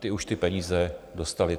Ty už ty peníze dostaly.